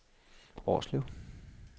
Årslev